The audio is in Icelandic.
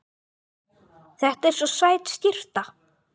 Þetta er svo sæt skyrta.